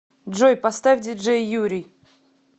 джой поставь диджей юрий